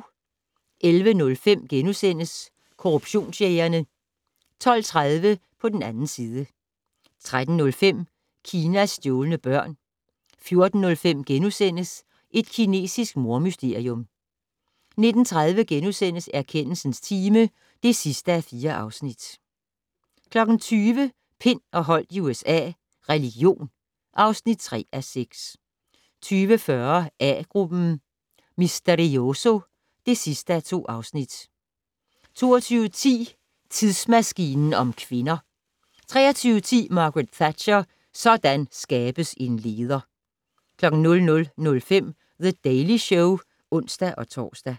11:05: Korruptionsjægerne * 12:30: På den 2. side 13:05: Kinas stjålne børn 14:05: Et kinesisk mordmysterium * 19:30: Erkendelsens time (4:4)* 20:00: Pind og Holdt i USA - religion (3:6) 20:40: A-gruppen: Misterioso (2:2) 22:10: Tidsmaskinen om kvinder 23:10: Margaret Thatcher: Sådan skabes en leder! 00:05: The Daily Show (ons-tor)